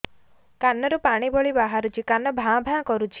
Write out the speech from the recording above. କାନ ରୁ ପାଣି ଭଳି ବାହାରୁଛି କାନ ଭାଁ ଭାଁ କରୁଛି